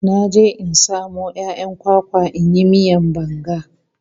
Na je in samo 'ya'yan kwakwa in yi miyan banga.